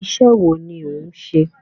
Iṣẹ́ wo ni òun ṣe?